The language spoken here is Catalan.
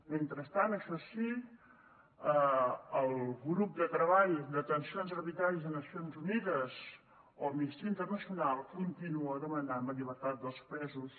mentrestant això sí el grup de treball de detencions arbitràries de nacions unides o amnistia internacional continua demanant la llibertat dels presos